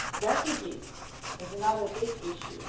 Refugees are another big issue.